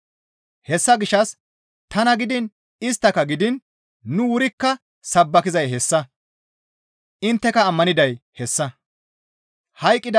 Hessa gishshas tana gidiin isttaka gidiin nu wurikka sabbakizay hessa; intteka ammaniday hessa.